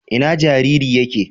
Ina jariri yake?